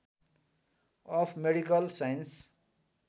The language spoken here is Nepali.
of medical science